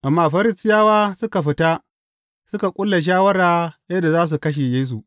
Amma Farisiyawa suka fita suka ƙulla shawara yadda za su kashe Yesu.